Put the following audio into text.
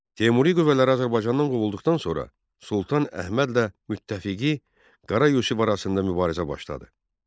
Teymuri qüvvələri Azərbaycandan qovulduqdan sonra Sultan Əhmədlə müttəfiqi Qara Yusif arasında mübarizə başladı.